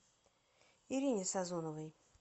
ирине сазоновой